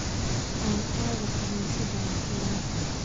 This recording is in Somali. Aan aado kaniisadda nakenaa